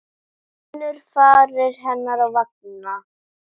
Finnur varir hennar á vanga.